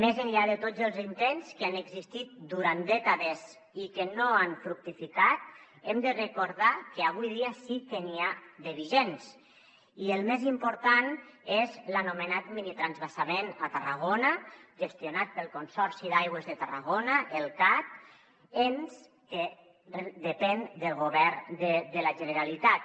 més enllà de tots els intents que han existit durant dècades i que no han fructificat hem de recordar que avui dia sí que n’hi ha de vigents i el més important és l’anomenat minitransvasament a tarragona gestionat pel consorci d’aigües de tarragona el cat ens que depèn del govern de la generalitat